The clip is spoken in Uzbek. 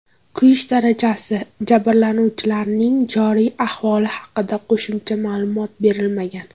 Kuyish darajasi, jabrlanuvchilarning joriy ahvoli haqida qo‘shimcha ma’lumot berilmagan.